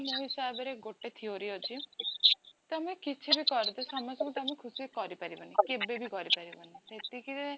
ମୋ ହିସାବ ରେ ଗୋଟେ theory ଅଛି, ତମେ କିଛି ବି କରିଦିଆ ତମେ ସମସ୍ତଙ୍କୁ ଖୁସି କରିପାରିବ ନାହିଁ କେଭେବି କରି ପାରିବ ନି ଏତେ କି